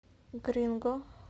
гринго